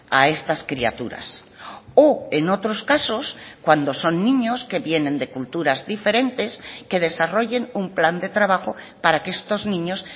a estas criaturas o en otros casos cuando son niños que vienen de culturas diferentes que desarrollen un plan de trabajo para que estos niños